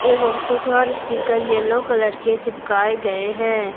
एवं कुछ और स्टीकर येलो कलर के चिपकाए गए हैं।